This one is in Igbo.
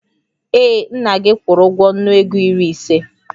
Ee, nna gị kwụrụ ụgwọ nnu ego iri ise